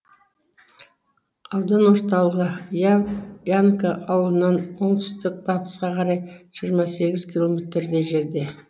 аудан орталығы ямка ауылынан оңтүстік батысқа қарай жиырма сегіз километрдей жерде